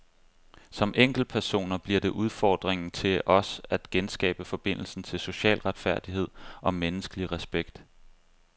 Som enkeltpersoner bliver det udfordringen til os at genskabe forbindelsen til social retfærdighed og menneskelig respekt.